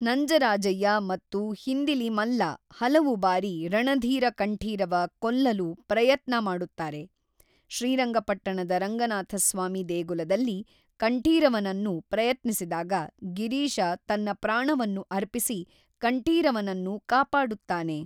ನಂಜರಾಜಯ್ಯ ಮತ್ತು ಹಿಂದಿಲಿ ಮಲ್ಲ ಹಲವು ಬಾರಿ ರಣಧೀರ ಕಂಠೀರವ ಕೊಲ್ಲಲು ಪ್ರಯತ್ನ ಮಾಡುತ್ತಾರೆ ಶ್ರೀರಂಗಪಟ್ಟಣದ ರಂಗನಾಥಸ್ವಾಮಿ ದೇಗುಲದಲ್ಲಿ ಕಂಠೀರವನನ್ನು ಪ್ರಯತ್ನಿಸಿದಾಗ ಗಿರೀಶ ತನ್ನ ಪ್ರಾಣವನ್ನು ಅರ್ಪಿಸಿ ಕಂಠೀರವನನ್ನು ಕಾಪಾಡುತ್ತಾನೆ